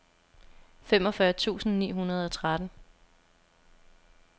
femogfyrre tusind ni hundrede og tretten